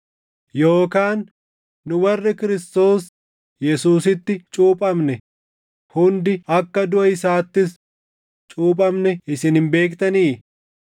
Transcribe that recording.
Yookaan nu warri Kiristoos Yesuusitti cuuphamne hundi akka duʼa isaattis cuuphamne isin hin beektanii?